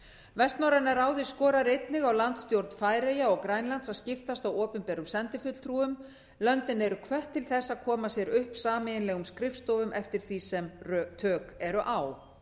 vestnorræna ráðið skorar einnig á landsstjórn færeyja og grænlands að skiptast á opinberum sendifulltrúum löndin eru hvött til þess að koma sér upp sameiginlegum skrifstofum eftir því sem tök eru á